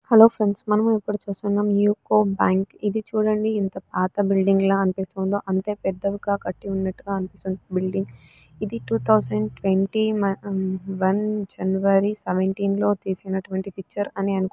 Friends మనం ఎప్పుడు చూస్తున్నాము యూకో బ్యాంకు ఏది చుడండి ఎంత పాట బులిడింగ్ అనిపిసితోండో ఏ అంటే పెద్దది విగ కటి ఉన్నట్టుగా అనిపిస్తుంది బులిడింగ్ ఏది త్వేన్తయ్తవెన్త్య్ వన్ జనుఅరీ లో తీసిన పిక్చర్ అని అనుకుంటాను .